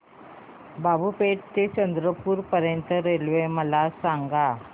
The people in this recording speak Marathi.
बाबूपेठ ते चंद्रपूर पर्यंत रेल्वे मला सांगा